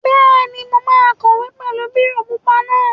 Bẹ́ẹ̀ni, mo máa kọ̀wé pẹ̀lú bírò pupa náà